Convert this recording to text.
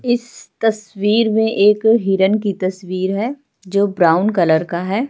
इस तस्वीर में एक हिरण की तस्वीर है जो ब्राउन कलर का है।